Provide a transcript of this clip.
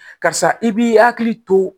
Karisa i b'i hakili to